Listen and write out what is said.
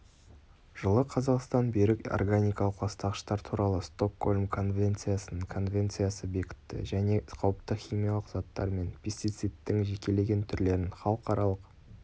жылы қазақстан берік органикалық ластағыштар туралы стокгольм конвенциясын конвенциясы бекітті және қауіпті химиялық заттар мен пестицидтің жекелеген түрлерін халықаралық